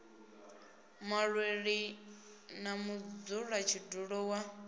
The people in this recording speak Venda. muṅwaleli na mudzula tshidulo wa